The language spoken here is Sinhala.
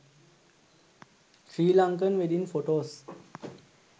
sri lankan wedding photos